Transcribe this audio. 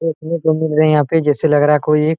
देखने को मिल रहे है जैसे यहां पर कोई एक --